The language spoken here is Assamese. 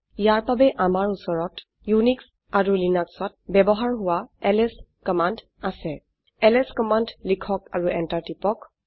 ইয়াৰ বাবে আমাৰ উচৰত উনিশ এণ্ড Linuxত ব্যবহাৰ হোৱা এলএছ কমান্ড আছে এলএছ কমান্ড লিখক আৰু এন্টাৰ টিপক